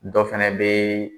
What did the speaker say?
Dɔ fana bɛ